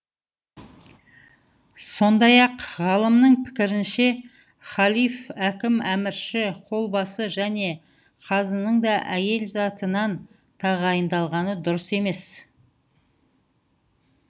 сондай ақ ғалымның пікірінше халиф әкім әмірші қолбасы және қазының да әйел затынан тағайындалғаны дұрыс емес